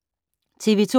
TV 2